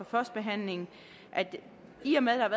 førstebehandlingen at jeg i og med der